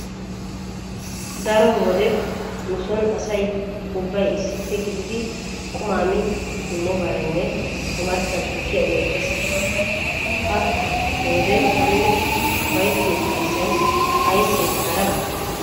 Daro wode nu sooni asay ubbay issippe gididi qumaa mi simmobareeni omarssan tukkiya uyeettees. Pa"a he wode taani ufayttiyo ufayssay ayssee haraba.